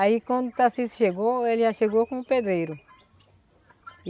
Aí quando o Tarcísio chegou, ele já chegou com o pedreiro.